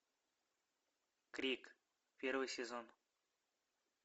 крик первый сезон